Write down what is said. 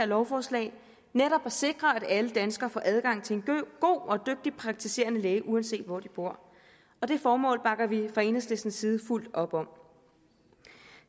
lovforslag netop at sikre at alle danskere får adgang til en god og dygtig praktiserende læge uanset hvor de bor det formål bakker vi fra enhedslistens side fuldt op om